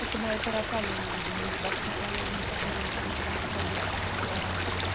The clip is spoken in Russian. это мои тараканы невидиме из башки полезли которыми у меня забита вся голова